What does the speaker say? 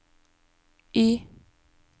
Y